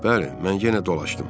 Bəli, mən yenə dolaşdım.